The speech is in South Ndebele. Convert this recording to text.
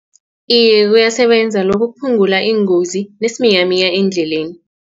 Iye, uyasebenza lokho kuphungula iingozi nesiminyaminya eendleleni.